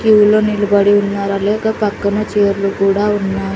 క్యూలో నిలబడి ఉన్నారు అలేక పక్కన చైర్లు కూడా ఉన్నాయి.